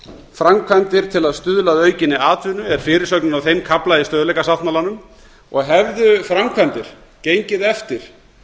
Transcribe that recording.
framkvæmdir til að stuðla að aukinni atvinnu er fyrirsögnin á þeim kafla í stöðugleikasáttmálanum og hefðu framkvæmdir gengið eftir